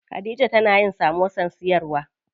Khadija tana yin samosar siyarwa.